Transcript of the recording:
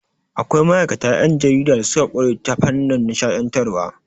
Akwai ma'aikata 'yan jarida da suka ƙware ta fannin nishaɗantarwa.